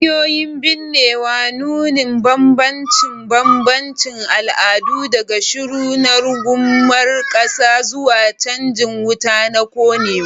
Hanyoyin binnewa, nunin bambance-bambancen al'adu, daga shiru na rungumar ƙasa zuwa canjin wuta na konewa.